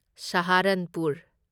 Saharanpur